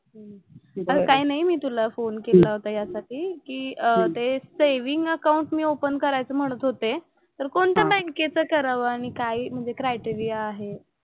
काही नाही मी तुला फोन केला होता यासाठी कि ते सेव्हिन्ग अकाउंट मी ओपन करायचं म्हणत होते तर कोणत्या बँकेचं करावं आणि काय म्हणजे क्रायटेरिया आहे.